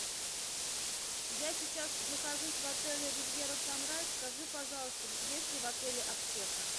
я сейчас нахожусь в отеле ривьера санрайз скажи пожалуйста есть ли в отеле аптека